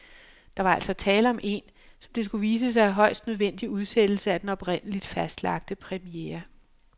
Der var altså tale om en, som det skulle vise sig, højst nødvendig udsættelse af den oprindeligt fastlagte premiere.